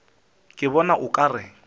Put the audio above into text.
ke bona o ka re